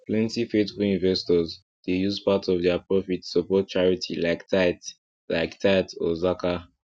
plenty faithful investors dey use part of their profit support charity like tithe like tithe or zakat